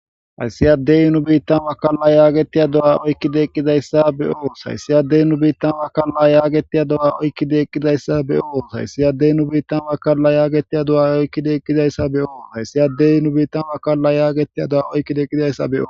hayssi yaddey nu biittan makalla yaagetiya do7a oykkideeqqidayssa be7oos hayssi addey nu biittan makalla yaagetiya do7a oykki deeqqidayssa be7oos hayssi addey nu biittan makalla yaagetiya do7a oykkideeqqidayssa be7oo hayssi addey nu biitta makalla yaagetiya do7a oykki deeqqidayssa be7oo